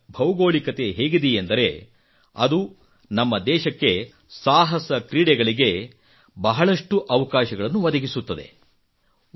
ಭಾರತದ ಭೌಗೋಳಿಕತೆ ಹೇಗಿದೆಯೆಂದರೆ ಅದು ನಮ್ಮ ದೇಶಕ್ಕೆ ಸಾಹಸಕ್ರೀಡೆಗಳಿಗೆ ಬಹಳಷ್ಟು ಅವಕಾಶಗಳನ್ನು ಒದಗಿಸುತ್ತದೆ